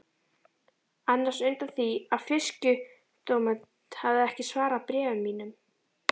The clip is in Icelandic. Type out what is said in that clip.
annars undan því að Fisksjúkdómanefnd hefði ekki svarað bréfum mínum.